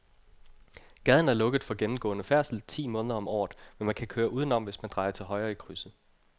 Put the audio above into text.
Gaden er lukket for gennemgående færdsel ti måneder om året, men man kan køre udenom, hvis man drejer til højre i krydset.